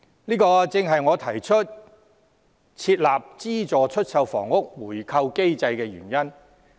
這正是我提出設立資助出售房屋回購機制的原因。